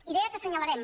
i deia que assenyalarem